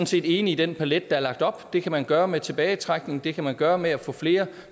set enig i den palet der er lagt op det kan man gøre med tilbagetrækning det kan man gøre med at få flere